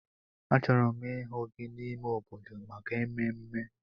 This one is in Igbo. Achọrọ m ịhụ gị n'ime obodo maka ememme!